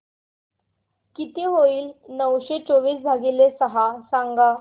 किती होईल नऊशे चोवीस भागीले सहा सांगा